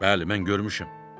Bəli, mən görmüşəm.